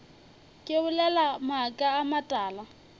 ke bolela maaka a matala